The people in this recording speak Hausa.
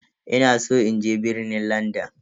Ina san in je birnin Landan.